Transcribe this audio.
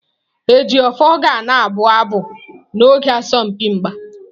Ejiofor ga na-abụ abụ n'oge asọmpi mgba.